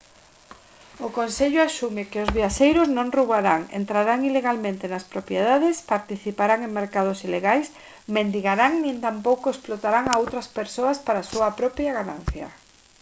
o consello asume que os viaxeiros non roubarán entrarán ilegalmente nas propiedades participarán en mercados ilegais mendigarán nin tampouco explotarán a outras persoas para a súa propia ganancia